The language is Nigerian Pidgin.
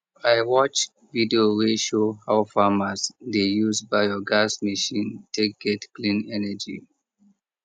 i watch video wey show how farmers dey use biogas machine take get clean energy